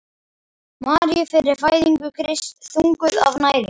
Maríu fyrir fæðingu Krists: þunguð af næringu.